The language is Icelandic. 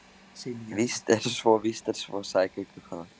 Víst er svo, víst er svo, sagði göngukonan.